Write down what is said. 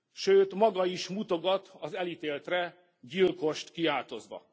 Sőt, maga is mutogat az elítéltre gyilkost kiáltozva.